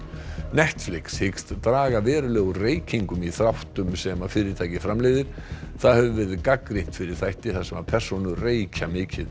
Netflix hyggst draga verulega úr reykingum í þáttum sem fyrirtækið framleiðir það hefur verið gagnrýnt fyrir þætti þar sem persónur reykja mikið